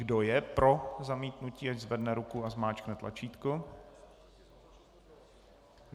Kdo je pro zamítnutí, ať zvedne ruku a zmáčkne tlačítko.